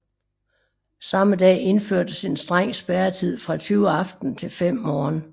Samme dag indførtes en streng spærretid fra 20 aften til 5 morgen